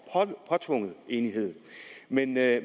påtvunget enighed men det